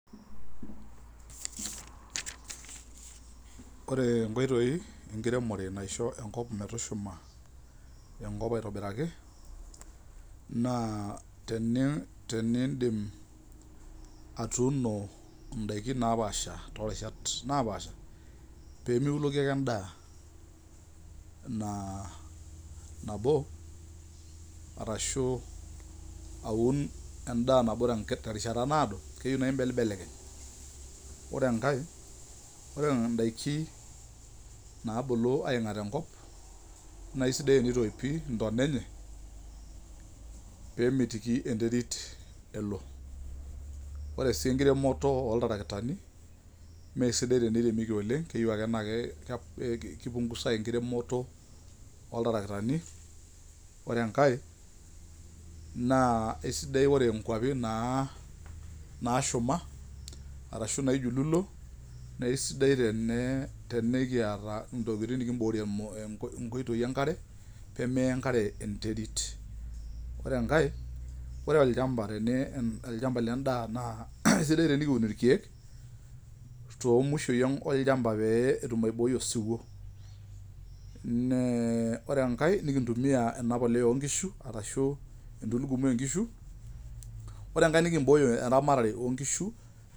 Oree inkoitoi enkiremore naisho enkop metushuma enkop aitobiraki, naa teniidim atuuno indaiki napaasha torishat naapasha pemeuloki ake endaan nabo arashuu auun endaa nabo terishata naado keyeu naa imbelekeny mbelekeny ore enkae ore indaikii naabulu aing'at enkop naisidai teneitoipii intona enyee peemitiki enterit elo ore sii enkiremoto oo ltarakitani mee sidai teneiremieki oleng' keyeu akee naa keipungusai enkiremoto oo ltarakitani oree enkae naa esidai ore inkwapin naashuma arashu naijululo naa eisidai tenekiata intokitin nikiborie inkoitoi enkare peemeya enkare enterit ore enkae ore olchampa lendaa naa esidai tenikiun irkyeek toomushoi oolchampai pee etum aiboit osiwo, ore enkae nekintumia enabolioi oo nkishu arashu entulugumi oo nkishu oree enkar nikimbooy eramatare oo nkishu